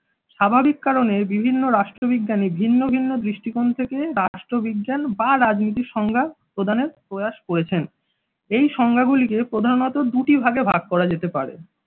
স্বাভাবিক কারণে বিভিন্ন রাষ্ট্রবিজ্ঞানি ভিন্ন ভিন্ন দৃষ্টিকোণ থেকে রাষ্ট্রবিজ্ঞান বা রাজনীতির সংজ্ঞা প্রদানের প্রয়াস করেছেন এই সংজ্ঞাগুলি কে প্রধানত দুটি ভাগে ভাগ করা যেতে পারে।